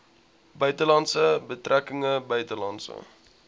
buitelandse betrekkinge buitelandse